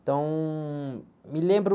Então, me lembro...